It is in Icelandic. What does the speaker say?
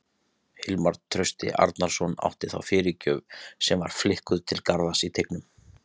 Hilmar Trausti Arnarsson átti þá fyrirgjöf sem var flikkuð til Garðars í teignum.